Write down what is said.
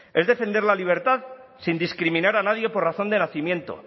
es defender la libertad sin discriminar a nadie por razón de nacimiento